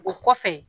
O kɔfɛ